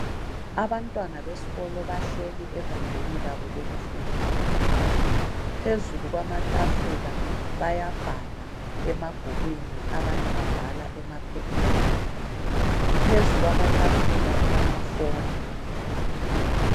Abantwana besikolo bahleli egumbini labo lokufundela. Phezulu kwamatafula bayabhala emabhukwini abanye babhala emaphepheni. Phezu kwamatafula kulamaphone.